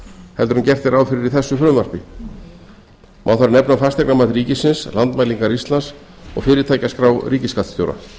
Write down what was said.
heldur en gert er ráð fyrir í þessu frumvarpi má þar nefna fasteignamat ríkisins landmælingar íslands og fyrirtækjaskrá ríkisskattstjóra